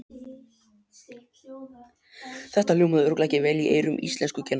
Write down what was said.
Þetta hljómaði örugglega ekki vel í eyrum íslenskukennarans!